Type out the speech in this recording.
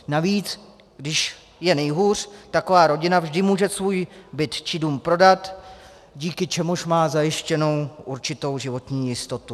Navíc když je nejhůř, taková rodina vždy může svůj byt či dům prodat, díky čemuž má zajištěnu určitou životní jistotu.